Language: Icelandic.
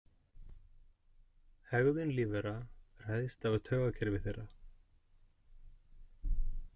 Hegðun lífvera ræðst af taugakerfi þeirra.